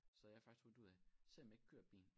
Så jeg har faktisk fundet ud af selvom jeg ikke køre bilen